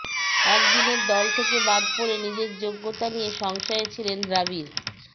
একদিনের দল থেকে বাদ পড়ে নিজের যোগ্যতা নিয়ে সংশয়ে ছিলেন দ্রাবিড়